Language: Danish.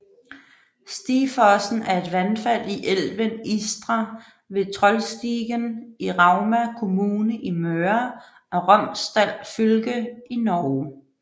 Stigfossen er et vandfald i elven Istra ved Trollstigen i Rauma kommune i Møre og Romsdal fylke i Norge